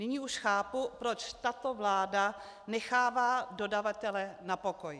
Nyní už chápu, proč tato vláda nechává dodavatele na pokoji.